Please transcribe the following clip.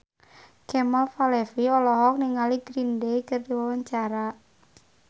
Kemal Palevi olohok ningali Green Day keur diwawancara